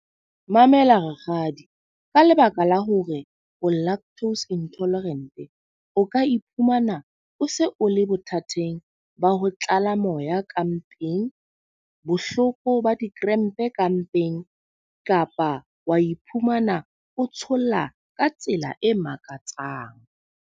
Mamela rakgadi, ka lebaka la hore o lactose intolerant o ka iphumana o se o le bothateng ba ho tlala moya ya ka mpeng, bohloko ba di-cramp ka mpeng. Kapa wa iphumana o tsholla ka tsela e makatsang.